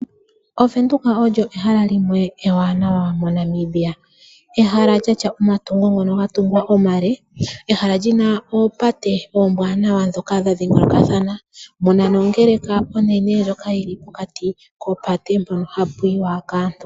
OVenduka olyo ehala limwe ewanawa ndono hali adhika mNamibia ehala ndoka lyatya omatungo ngoka omale ehala lyina oopate muna nongeleka onene ndjoka yili pokati kopate mpoka hapu yiwa kaantu.